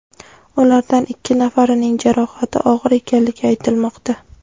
Ulardan ikki nafarining jarohati og‘ir ekanligi aytilmoqda.